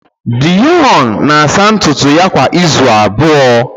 Deon na-asa ntutu ya kwa izu abụọ